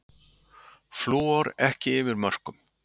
Flúor ekki yfir mörkum